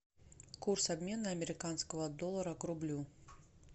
курс обмена американского доллара к рублю